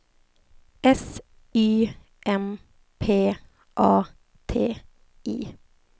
S Y M P A T I